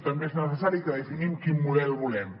també és necessari que definim quin model volem